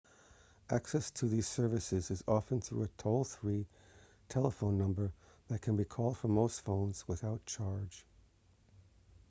access to these services is often through a toll-free telephone number that can be called from most phones without charge